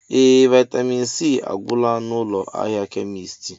Ee! Vaịtamịn C agwụla n'ụlọ ahịa kemisti.